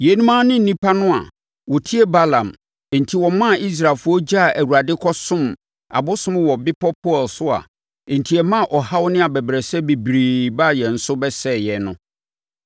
Yeinom ara ne nnipa no a wɔtie Balaam enti wɔmaa Israelfoɔ gyaa Awurade kɔsom abosom wɔ bepɔ Peor so a enti ɛmaa ɔhaw ne abɛbrɛsɛ bebree baa yɛn so bɛsɛee yɛn no.